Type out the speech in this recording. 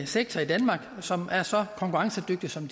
sektor i danmark som er så konkurrencedygtig som